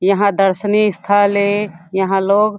यहाँ दर्शनीय स्थल हे यहाँ लोग--